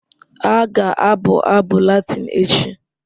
Ha ga-abụ abụ Latịn echi